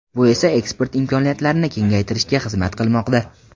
Bu esa eksport imkoniyatlarini kengaytirishga xizmat qilmoqda.